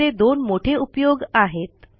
याचे दोन मोठे उपयोग आहेत